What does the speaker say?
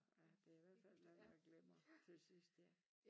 Ja det i hvert fald noget med at glemmer til sidst ja